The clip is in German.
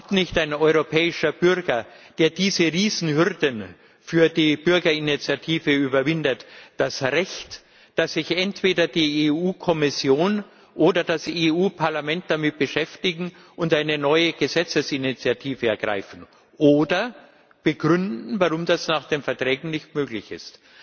Hat nicht ein europäischer Bürger, der diese Riesenhürden für die Bürgerinitiative überwindet, das Recht, dass sich die EU Kommission oder das EU Parlament entweder damit beschäftigen und eine neue Gesetzesinitiative ergreifen, oder begründen, warum das nach den Verträgen nicht möglich ist?